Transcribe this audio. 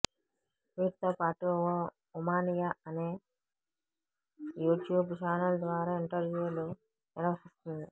వీటితో పాటు ఓ ఉమానియా అనే యూట్యూబ్ ఛానల్ ద్వారా ఇంటర్వ్యూలు నిర్వహిస్తోంది